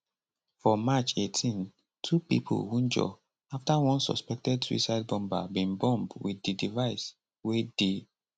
for march 18 two pipo wunjure afta one suspected suicide bomber bin bomb wit di device wey dey